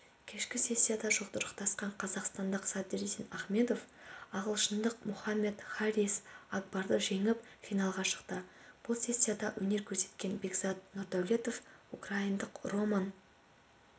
кешкі сессияда жұдырықтасқан қазақстандық садриддин ахмедов ағылшындық мохаммед харрис акбарды жеңіп финалға шықты бұл сессияда өнер көрсеткен бекзад нұрдәулетов украиндық роман